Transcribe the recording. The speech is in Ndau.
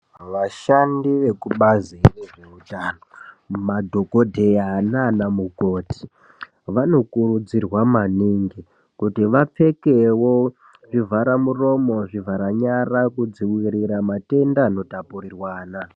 Vashandi vekubazi rezvehutano, madhokodheya nanamukoti, vanokurudzirwa maningi kuti vapfekewo zvivharamuromo, zvivhara nyara kudzivirira matenda anotapurirwana.